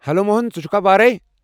Hello Mohan, ژٕ چھُکھا وارے؟